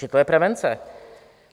Že to je prevence.